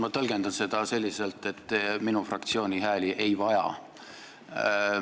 Mina tõlgendan seda selliselt, et te minu fraktsiooni hääli ei vaja.